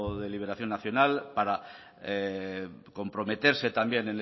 de liberación nacional para comprometerse también